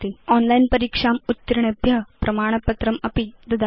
online परीक्षाम् उत्तीर्णेभ्य प्रमाणपत्रमपि ददाति